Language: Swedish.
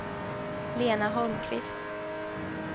Lena Holmqvist